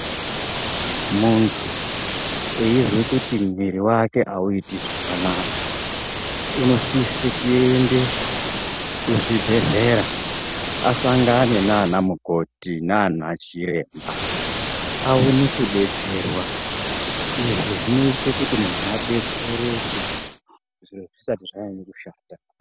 Muntu eizwe kuti mwiri wake hauite zvakanaka, unosise kuende kuzvibhedhlera asangane nanamukoti nanachiremba aone kudetserwa. Izvi zvinoite kuti muntu adetsereke zviro zvisati zvanyanye kushata.